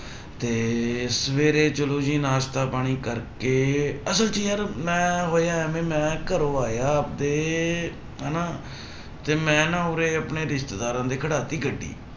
ਤੇ ਸਵੇਰੇ ਚਲੋ ਜੀ ਨਾਸ਼ਤਾ ਪਾਣੀ ਕਰਕੇ ਅਸਲ ਚ ਯਾਰ ਮੈਂ ਹੋਇਆ ਇਵੇਂ ਮੈਂ ਘਰੋਂ ਆਇਆ ਤੇ ਹਨਾ ਤੇ ਮੈਂ ਨਾ ਉਰੇ ਆਪਣੇ ਰਿਸ਼ਤੇਦਾਰਾਂ ਦੇ ਖੜਾ ਦਿੱਤੀ ਗੱਡੀ।